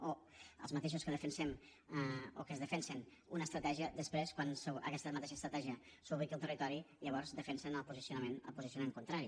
o els mateixos que defensem o que defensen una estratègia després quan aquesta mateixa estratègia s’ubica al territori llavors defensen el posicionament contrari